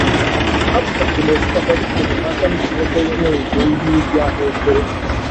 Afụchasịrị m osikapa dịka enyemaka m ji nweta iwe owuwe ihe ubi ahụekere